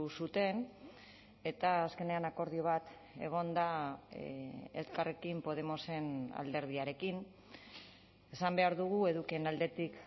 zuten eta azkenean akordio bat egon da elkarrekin podemosen alderdiarekin esan behar dugu edukien aldetik